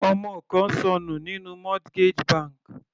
Ọmọ kan ṣọnù nínú mortgage bank.